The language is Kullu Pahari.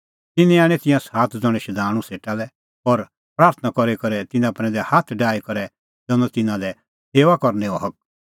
तिन्नैं आणै तिंयां सात ज़ण्हैं शधाणूं सेटा लै और प्राथणां करी करै तिन्नां प्रैंदै हाथ डाही करै दैनअ तिन्नां लै सेऊआ करनैओ हक